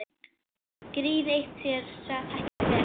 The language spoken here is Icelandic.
Gríð eitt sér þekkist vel.